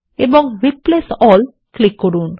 এখন replace all click করুন